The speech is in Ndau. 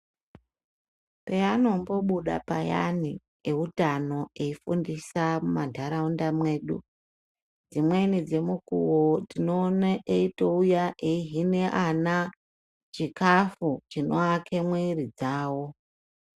Peanombobuda payani eutano eifundisa mundaraunda medu dzimweni dzemukuwo tinoona eitouya eihina ana chikafu chinovakwa mwiri dzawo.